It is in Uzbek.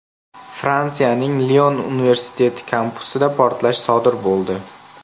Fransiyaning Lion universiteti kampusida portlash sodir bo‘ldi.